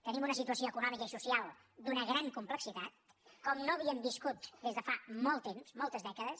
tenim una situació econòmica i social d’una gran complexitat com no havíem viscut des de fa molt temps moltes dècades